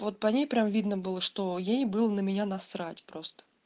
вот по ней прям видно было что ей было на меня насрать просто